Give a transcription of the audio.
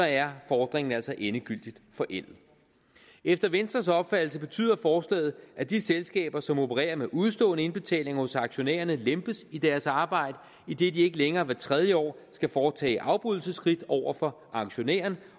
er fordringen altså endegyldigt forældet efter venstres opfattelse betyder forslaget at de selskaber som opererer med udestående indbetalinger hos aktionærerne lempes i deres arbejde idet de ikke længere hvert tredje år skal foretage afbrydelsesskridt over for aktionærerne